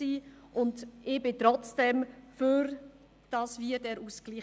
Trotzdem bin ich für den Ausgleich.